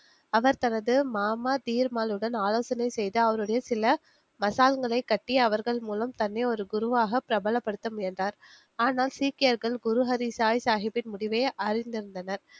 அவர் தனது மாமா தீர்மாலுடன் ஆலோசனை செய்து அவருடைய சில மசாங்களை கட்டி அவர்கள் மூலம் தன்னை ஒரு குருவாக பிரபலபடுத்த முயன்றார், ஆனால் சீக்கியர்கள் குருஹரிசாய் சாஹிப்பின் முடிவை அறிந்திருந்தனர்